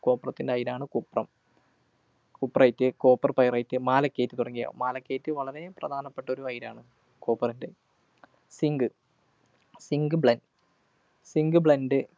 കോപ്രത്തിൻ്റെ അയിരാണ് cuprum cuprite, Copper pyrites, Malachite തുടങ്ങിയവ. Malachite വളരെ പ്രധാനപ്പെട്ട ഒരു അയിരാണ്, copper ൻ്റെ. Zink, zinc ബ്ലെ zinc blend